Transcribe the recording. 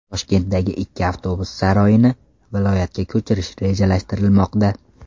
Toshkentdagi ikki avtobus saroyini viloyatga ko‘chirish rejalashtirilmoqda.